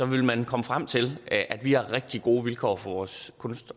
vil man komme frem til at vi har rigtig gode vilkår for vores kunst